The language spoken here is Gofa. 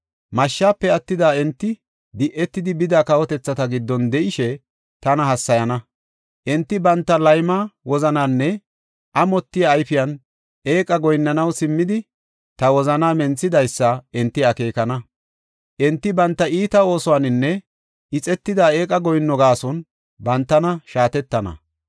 Mashshafe attida enti, di7etidi bida kawotethata giddon de7ishe tana hassayana. Enti banta layma wozananinne amotiya ayfiyan eeqa goyinnanaw simmidi ta wozanaa menthidaysa enti akeekana. Enti banta iita oosuwaninne ixetida eeqa goyinno gaason bantana shaatettana.